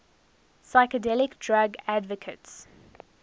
psychedelic drug advocates